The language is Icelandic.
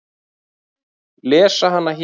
Lesa hana hér.